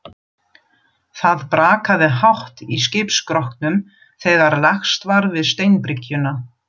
Það brakaði hátt í skipsskrokknum þegar lagst var við steinbryggjuna.